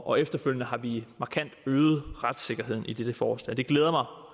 og efterfølgende har vi markant øget retssikkerheden i dette forslag det glæder mig